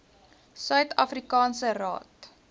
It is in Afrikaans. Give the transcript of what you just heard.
suid afrikaanse raad